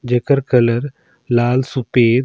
जेकर कलर लाल सुपेद--